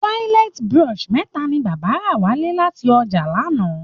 Toilet brush mẹ̀ta ni bàbá rà wálé láti ọjà lánàá